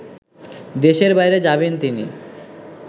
দেশের বাইরে যাবেন তিনি